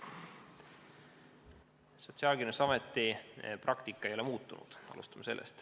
Alustame sellest, et Sotsiaalkindlustusameti praktika ei ole muutunud.